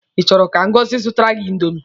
Ị chọrọ ka Ngọzi zụtara gị indomi?